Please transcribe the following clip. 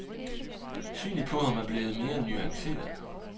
Synet på ham er blevet mere nuanceret.